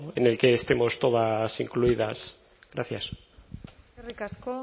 en el que estemos todas incluidas gracias eskerrik asko